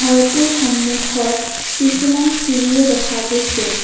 ঘৰটোৰ সন্মুখত কিছুমান চিৰিও দেখা গৈছে।